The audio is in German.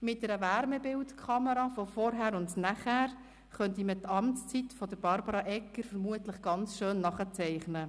Mit einer Wärmebildkamera-Aufnahme von vorher und nachher könnte man die Amtszeit von Barbara Egger vermutlich sehr schön nachzeichnen: